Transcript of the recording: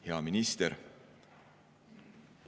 Hea minister!